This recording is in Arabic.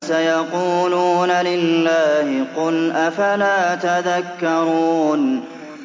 سَيَقُولُونَ لِلَّهِ ۚ قُلْ أَفَلَا تَذَكَّرُونَ